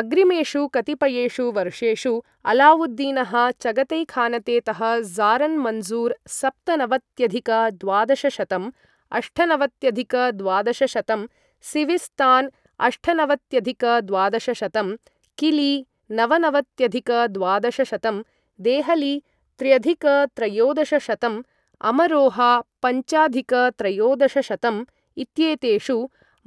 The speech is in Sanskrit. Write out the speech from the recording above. अग्रिमेषु कतिपयेषु वर्षेषु अलाउद्दीनः चगतैखानते तः ज़ारन् मन्ज़ूर् सप्तनवत्यधिक द्वादशशतं अष्टनवत्यधिक द्वादशशतं , सिविस्तान् अष्टनवत्यधिक द्वादशशतं , किली नवनवत्यधिक द्वादशशतं , देहली त्र्यधिक त्रयोदशशतं , अमरोहा पञ्चाधिक त्रयोदशशतं इत्येतेषु